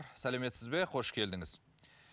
сәлеметсіз бе қош келдіңіз